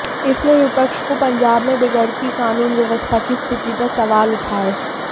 इससे विपक्ष को पंजाब में बिगड़ती कानून व्यवस्था की स्थिति पर सवाल उठाए